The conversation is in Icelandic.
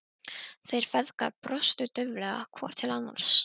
Þeir feðgar brostu dauflega hvor til annars.